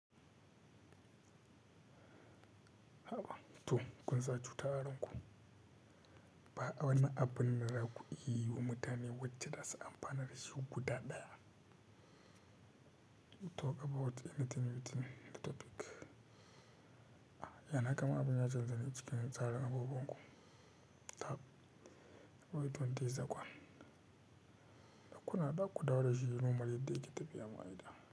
Haba to kun sa cuta a ranku ba a wani abu ne da za ku yi wa mutane wacce za su amfana da shi guda ɗaya. Talk about anything you think that talk. Yana kama abun ya canza ne cikin tsarin abubuwan ku. Tab, but don't tease the one. Dakuna dakku dawo da shirin mu mu je dai ki tafi ya maida.